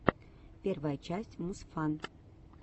первая часть мусфан